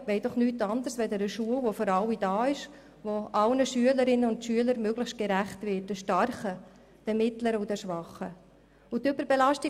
Die Lehrpersonen wollen nichts anderes, als eine Schule, die für alle da ist und die allen Schülerinnen und Schülern möglichst gerecht wird: den starken, den mittleren und den schwachen Kindern.